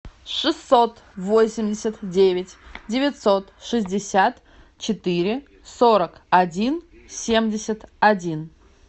шестьсот восемьдесят девять девятьсот шестьдесят четыре сорок один семьдесят один